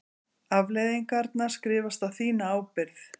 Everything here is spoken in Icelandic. Afleiðingarnar skrifast á þína ábyrgð.